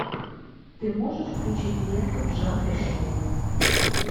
ты можешь включить ленту в жанре шоу